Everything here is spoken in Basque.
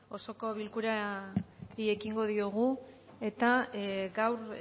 osoko bilkurari ekingo diogu eta gaur